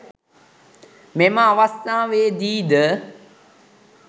මෙම අවස්ථාවේදී ද